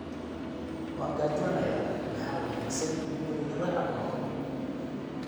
Waan gaajoonayaa, maxaa wanaagsan in guriga lagu cuno?